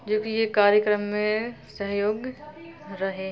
जो की ये कार्यक्रम में सहयोग रहें ---